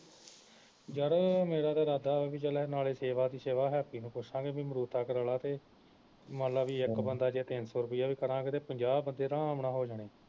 ਯਾਰ ਮੇਰਾ ਤਾ ਇਰਾਦਾ ਵਾ ਬਈ ਚੱਲ ਨਾਲੇ ਸੇਵਾ ਦੀ ਸੇਵਾ ਹੈਪੀ ਨੂੰ ਪੁੱਛਲਾਂਗੇ ਬਈ ਕਰਲਾ ਤੇ ਮੰਨ ਲਾ ਬੀ ਇਕ ਬੰਦਾ ਜੇ ਤਿੰਨ ਸੌ ਰੁਪਇਆ ਵੀ ਕਰਾਂਗੇ ਤਾਂ ਪੰਜਾਹ ਬੰਦੇ ਅਰਾਮ ਨਾਲ ਹੋ ਜਾਣੇ